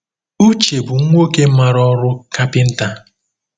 Uche bụ nwoke maara ọrụ kapịnta.